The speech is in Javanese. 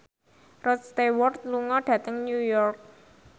Rod Stewart lunga dhateng New York